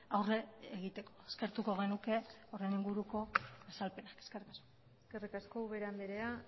aurre egiteko eskertuko genuke horren inguruko azalpena eskerrik asko eskerrik asko ubera andrea